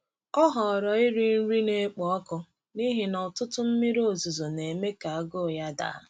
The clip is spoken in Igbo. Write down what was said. Ọ họọrọ iri nri na-ekpo ọkụ n’ihi na ụtụtụ mmiri ozuzo na-eme ka agụụ ya daa.